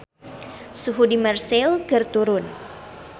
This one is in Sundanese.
Suhu di Marseille keur turun